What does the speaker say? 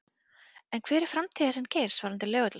En hver er framtíðarsýn Geirs varðandi Laugardalsvöll?